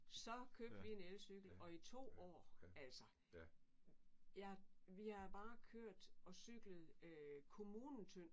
Så købte vi en elcykel og i to år altså jeg vi har bare kørt og cyklet kommunen tynd